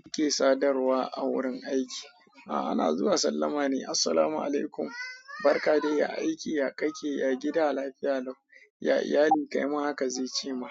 Mu ke sadarwa a wurin aiki. A'a, na zuwa sallama ne. Assalamualaikum, barka de ya aiki, ya kake, ya gida, lafiya lau, ya iyali. Kai ma haka zai ce ma.